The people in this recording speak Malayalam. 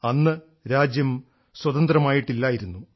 അന്ന് രാജ്യം സ്വതന്ത്രമായിട്ടില്ലായിരുന്നു